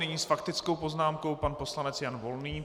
Nyní s faktickou poznámkou pan poslanec Jan Volný.